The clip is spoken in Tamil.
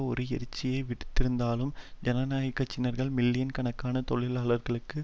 ஒரு எச்சரிக்கையை விடுத்திருந்தாலும் ஜனநாயக கட்சி காரர்கள் மில்லியன் கணக்கான தொழிலாளர்களுக்கு